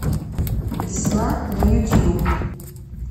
весна на ютюб